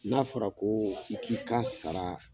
N'a fɔra ko i k'i ka sara